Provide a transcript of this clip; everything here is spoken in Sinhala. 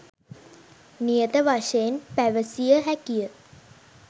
නියත වශයෙන්ම පැවසිය හැකිය.